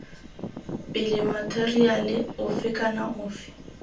pele matheriale ofe kana ofe